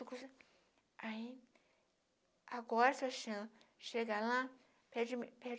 Aí, agora Sebastiana, chega lá, pede mi